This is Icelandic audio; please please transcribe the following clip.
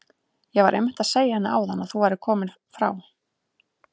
Ég var einmitt að segja henni áðan að þú værir kominn frá